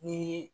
Ni